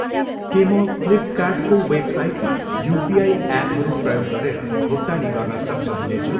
के म फ्लिपकार्टको वेबसाइटमा युपिआई एपहरू प्रयोग गरेर भुक्तानी गर्न सक्षम हुनेछु?